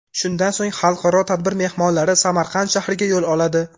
Shundan so‘ng xalqaro tadbir mehmonlari Samarqand shahriga yo‘l oladi.